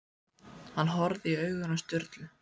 Hann horfði í augun á Sturlu.